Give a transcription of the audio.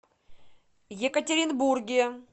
екатеринбурге